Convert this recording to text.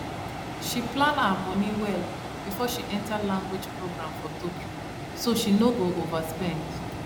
she plan her money well before she enter language program for tokyo so she no go overspend